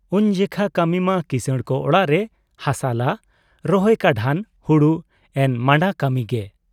ᱩᱱ ᱡᱮᱠᱷᱟ ᱠᱟᱹᱢᱤ ᱢᱟ ᱠᱤᱥᱟᱹᱬ ᱠᱚ ᱚᱲᱟᱜ ᱨᱮ ᱦᱟᱥᱟᱞᱟ, ᱨᱚᱦᱚᱭ ᱠᱟᱰᱷᱟᱱ, ᱦᱩᱲᱩ ᱮᱱᱢᱟᱱᱰᱟ ᱠᱟᱹᱢᱤ ᱜᱮ ᱾